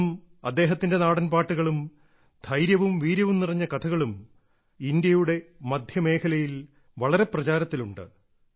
ഇന്നും അദ്ദേഹത്തിന്റെ നാടൻ പാട്ടുകളും ധൈര്യവും വീര്യവും നിറഞ്ഞ കഥകളും ഇന്ത്യയുടെ മധ്യമേഖലയിൽ വളരെ പ്രചാരത്തിലുണ്ട്